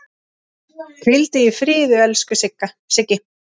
Hvíldu í friði, elsku Siggi.